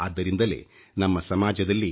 ಆದ್ದರಿಂದಲೇ ನಮ್ಮ ಸಮಾಜದಲ್ಲಿ